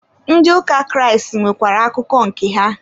Ndị ụka Kraịst nwekwara akụkọ nke ha.